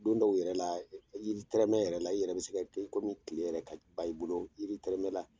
Don dɔw yɛrɛ la yiri tɛrɛmɛ yɛrɛ la, i yɛrɛ bɛ se ka kɛ i kɔmi tile yɛrɛ ka ban i bolo jiri tɛrɛmɛ la!